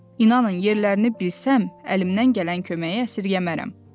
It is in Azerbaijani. İnanın, yerlərini bilsəm, əlimdən gələn köməyi əsirgəyə bilmərəm.